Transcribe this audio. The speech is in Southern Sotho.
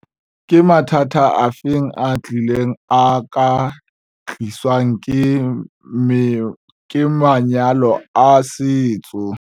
Ke mathata afe a atileng a ka tliswang ke manyalo a setso?